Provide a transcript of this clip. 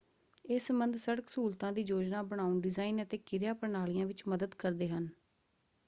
ਇਹ ਸੰਬੰਧ ਸੜਕ ਸਹੂਲਤਾਂ ਦੀ ਯੋਜਨਾ ਬਣਾਉਣ ਡਿਜ਼ਾਈਨ ਅਤੇ ਕਿਰਿਆ ਪ੍ਰਣਾਲੀਆਂ ਵਿੱਚ ਮਦਦ ਕਰਦੇ ਹਨ।